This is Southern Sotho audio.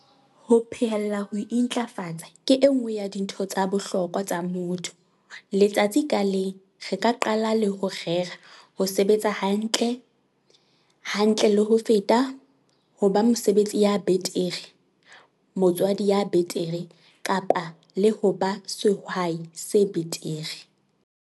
Ho phehella ho intlafatsa ke e nngwe ya dintho tsa bohlokwa tsa motho - letsatsi ka leng re ka qala hape le ho rera ho sebetsa hantle, hantle le ho feta, ho ba mosebetsi ya betere, motswadi ya betere, le ho ba sehai se betere.